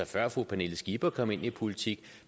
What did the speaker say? før fru pernille skipper kom ind i politik